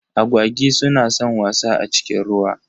Agwagi su na san wasa a cikin ruwa.